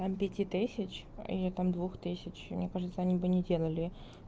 там пяти тысяч или там двух тысяч мне кажется они бы не делали